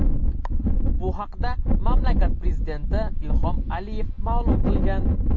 Bu haqda mamlakat prezidenti Ilhom Aliyev ma’lum qilgan .